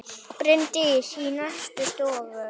Bryndís í næstu stofu!